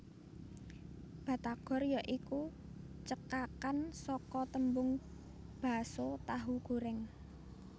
Batagor ya iku cekakan saka tembung Baso Tahu Goreng